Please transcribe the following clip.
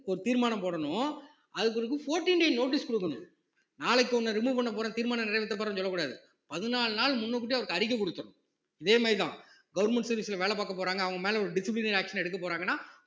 ஒரு தீர்மானம் போடணும் அதுக்கு பிறகு fourteen day notice குடுக்கணும் நாளைக்கு உன்னை remove பண்ண போறேன்னு தீர்மானம் நிறைவேற்ற போறேன்னு சொல்லக் கூடாது பதினாலு நாள் முன்னக்கூட்டியே அவருக்கு அறிக்கை குடுத்தரணும் இதே மாரிதான் government service ல வேலை பாக்கப் போறாங்க அவங்க மேல ஒரு disciplinary action எடுக்கப் போறாங்கன்னா